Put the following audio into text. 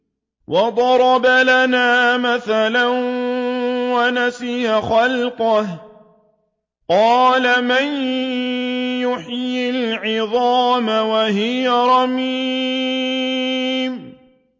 وَضَرَبَ لَنَا مَثَلًا وَنَسِيَ خَلْقَهُ ۖ قَالَ مَن يُحْيِي الْعِظَامَ وَهِيَ رَمِيمٌ